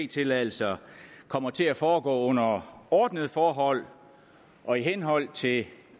tilladelser kommer til at foregå under under ordnede forhold og i henhold til